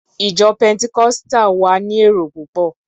Ìjọ Pẹntikọ́sítà wa ni èrò púpọ̀.